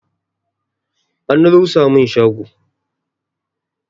An rusa mun shago